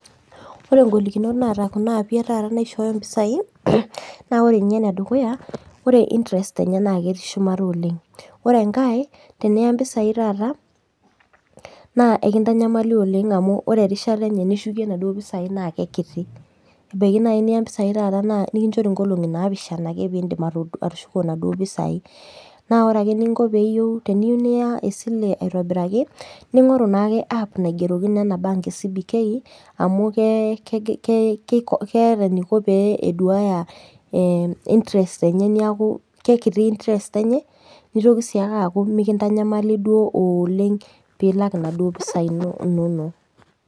Ore ngolikinot naata kuna api etaata naishooyo mpisai naore nye enedukuya ore intrest enye naketii shumata oleng ore enkae teniya mpisai taata na enkitanyamali oleng erishata nishukie naduo pisai na kekiti ebaki niya mpisai taata nikinchori nkolongi napishana pitum atushuko naduo pisai na ore eninko teniyeu niya esile aitobiraki ningoru na enaap naigerokino ena bank e cbk amu keeta enikoboeduaya intrest enye neakukekiti intrest enye nitoki si aku nikintanyamali oleng pilak naduo pisai inonok.